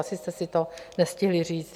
Asi jste si to nestihli říct.